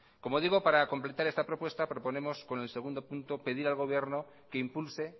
como digo para completar esta propuesta proponemos con el segundo punto pedir al gobierno que impulse